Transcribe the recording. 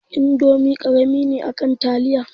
Indomi karami ne akan taliya